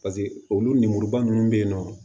Paseke olu lemuruba nunnu bɛ yen nɔ